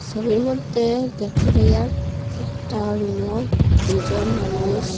ছবির মদ্যে দেখতে পাই আর একটা রুম ও দুইজন মানুষ।